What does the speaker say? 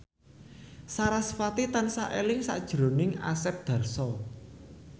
sarasvati tansah eling sakjroning Asep Darso